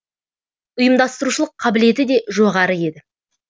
ұйымдастырушылық қабілеті де жоғары еді